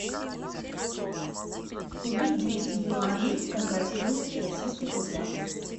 купить двести юаней какая стоимость в российских рублях